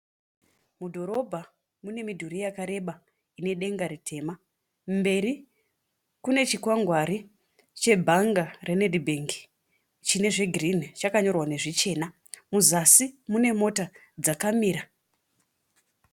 Mudhorobha mune midhuri yakareba ine denga ritema. Mberi kune chikwangwari chebhanga reNedbank chine zvigirinhi chakanyorwa nezvichena. Muzasi mune mota dzakamira.